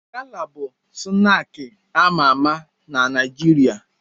Gala bụ snaakị a ma ama na Naịjirịa.